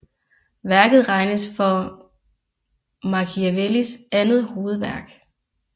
Værket regnes for Machiavellis andet hovedværk